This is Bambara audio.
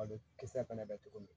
Malo kisɛ fɛnɛ bɛ togo min